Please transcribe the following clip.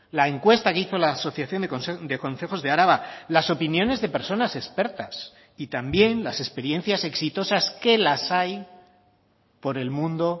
la encuesta que hizo la asociación de concejos de araba las opiniones de personas expertas y también las experiencias exitosas que las hay por el mundo